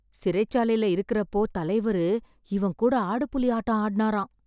சிறைச்சாலைல இருக்கறப்போ தலைவரு இவன்கூட ஆடுபுலி ஆட்டம் ஆடுனாராம்.